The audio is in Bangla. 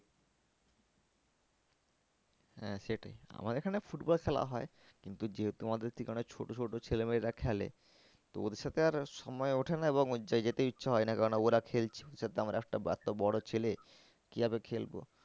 হ্যাঁ সেটাই আমার এখানে football খেলা হয়। কিন্তু যেহেতু আমাদের থেকে অনেক ছোটো ছোটো ছেলে মেয়েরা খেলে তো ওদের সাথে আর সময় ওঠে না এবং যেতে ইচ্ছা হয় না কেন না ওরা খেলছে আমরা একটা, একটা বড়ো ছেলে কি ভাবে খেলবো?